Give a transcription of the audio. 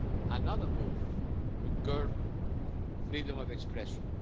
another move to curb freedom of expression.